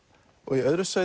í öðru sæti